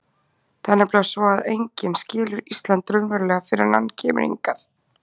Það er nefnilega svo að enginn skilur Ísland raunverulega fyrr en hann kemur hingað.